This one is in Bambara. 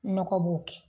Nɔgɔ b'o kɛ